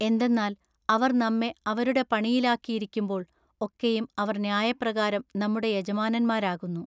എന്തെന്നാൽ അവർ നമ്മെ അവരുടെ പണിയിലാക്കിയിരിക്കുമ്പോൾ ഒക്കെയും അവർ ന്യായപ്രകാരം നമ്മുടെ യജമാനന്മാരാകുന്നു.